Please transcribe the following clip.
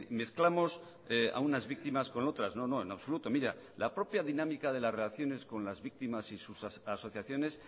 mezclamos a unas víctimas con otras no no en absoluto mira la propia dinámica de las relaciones con las víctimas y sus asociaciones